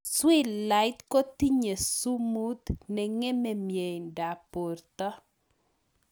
Swilait kotinye sumuut nengemee mieindoop portoo